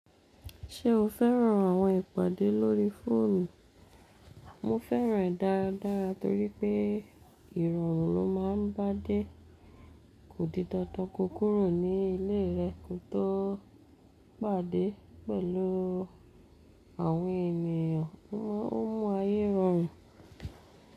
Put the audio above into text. Ṣé o fẹ́ràn àwọn ìpàdé lórí fóònù? Mo fẹ́ràn ẹ́ dáadáa torí pé ìrọ̀rùn ló má a ń bá dé. Kò di dandan kọ kúrò ní ilé rẹ kò tó pàdé pẹ̀lú àwọn ènìyàn. Ó mú ayé rọrùn.